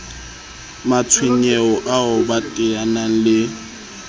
matshwenyeho ao ba teaneng le